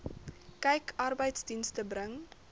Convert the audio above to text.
kyk arbeidsdienste bring